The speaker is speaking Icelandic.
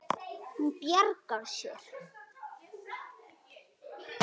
Hún bjargar sér.